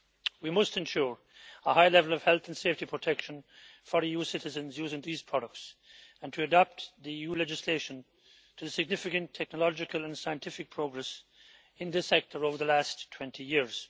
We must ensure a high level of health and safety protection for EU citizens using these products and must adapt the EU legislation to the significant technological and scientific progress in this sector over the last 20 years.